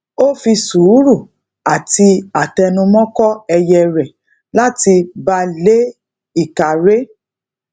ó fi sùúrù ati atẹnumọ́ kó ẹyẹ rè lati ba le ika re